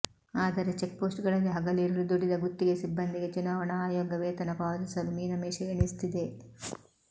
ಆದರೆ ಚೆಕ್ಪೋಸ್ಟ್ಗಳಲ್ಲಿ ಹಗಲಿರುಳು ದುಡಿದ ಗುತ್ತಿಗೆ ಸಿಬ್ಬಂದಿಗೆ ಚುನಾವಣಾ ಆಯೋಗ ವೇತನ ಪಾವತಿಸಲು ಮೀನಮೇಷ ಎಣಿಸುತ್ತಿದೆ